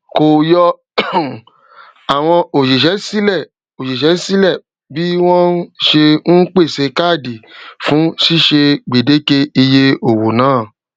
kò yọ um àwọn òṣìṣé sílè òṣìṣé sílè bí wón ṣe n pèsè káàdì fún ṣíṣe gbèdéke iye owónàá